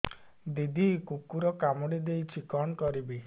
ଦିଦି କୁକୁର କାମୁଡି ଦେଇଛି କଣ କରିବି